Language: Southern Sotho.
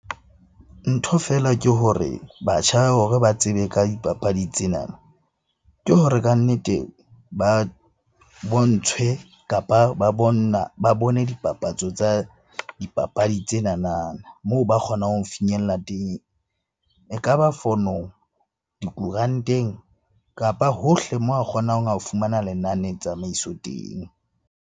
Ntho fela ke hore batjha hore ba tsebe ka dipapadi tsena. Ke hore kannete ba bontshwe, kapa ba bone dipapatso tsa dipapadi tsenanana moo ba kgonang ho finyella teng. Ekaba fonong, dikoranteng, kapa hohle moo a kgonang ho fumana lenane tsamaiso teng.